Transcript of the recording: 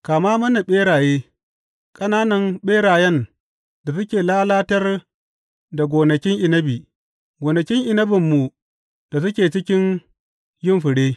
Kama mana ɓeraye, ƙananan ɓerayen da suke lalatar da gonakin inabi, gonakin inabinmu da suke cikin yin fure.